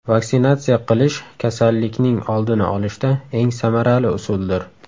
Vaksinatsiya qilish kasallikning oldini olishda eng samarali usuldir.